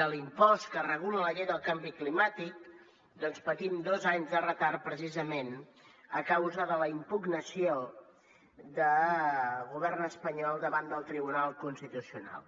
de l’impost que regula la llei del canvi climàtic doncs patim dos anys de retard precisament a causa de la impugnació del govern espanyol davant del tribunal constitucional